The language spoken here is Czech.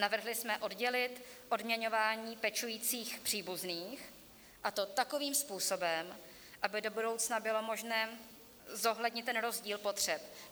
Navrhli jsme oddělit odměňování pečujících příbuzných, a to takovým způsobem, aby do budoucna bylo možné zohlednit ten rozdíl potřeb.